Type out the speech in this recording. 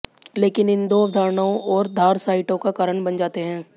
लेकिन इन दो अवधारणाओं और धार साइटों का कारण बन जाते हैं